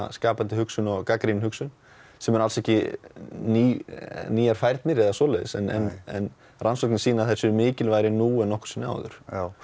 skapandi hugsun og gagnrýn hugsun sem er alls ekki ný ný færni eða neitt svoleiðis en rannsóknir sýna að þær séu mikilvægari nú en nokkru sinni áður